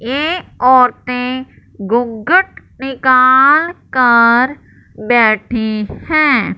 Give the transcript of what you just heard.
ये औरतें घुंघट निकाल कर बैठी है।